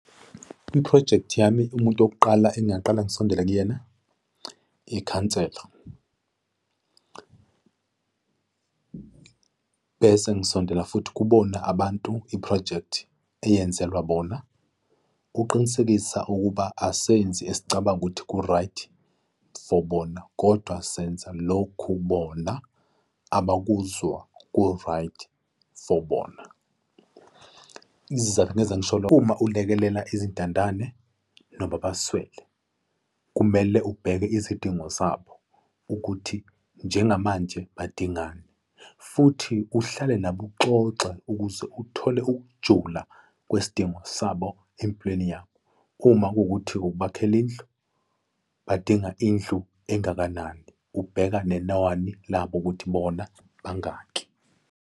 I-project yami, umuntu wokuqala engingaqala ngisondele kuyena, ikhansela. Bese ngisondela futhi kubona abantu i-project eyenzelwa bona ukuqinisekisa ukuba asenzi esicabanga ukuthi ku-right for bona kodwa senza lokhu bona abakuzwa ku-right for bona. Izizathu engeza ngisho lokho, uma ulekelela izintandane noma abaswele, kumele ubheke izidingo zabo ukuthi njengamanje badingani, futhi uhlale nabo uxoxwe ukuze uthole ukujula kwesidingo sabo empilweni yabo. Uma kuwukuthi ukubakhela indlu, badinga indlu engakanani, ubheka nenani labo, ukuthi bona bangaki.